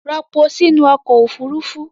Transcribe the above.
Ropo sí nú ọkọ̀ Òfurufú!